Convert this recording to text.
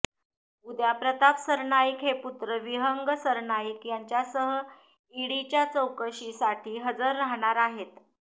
उद्या प्रताप सरनाईक हे पुत्र विहंग सरनाईक याच्यासह ईडीच्या चौकशीसाठी हजर राहणार आहेत